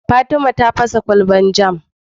Fatima ta fasa kwalbar jam